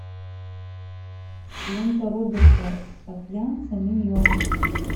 лента роберта саакянца миньоны